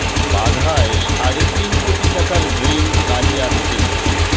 বাঘায় সাড়ে তিন কোটি টাকার ড্রেন কাজে আসছে না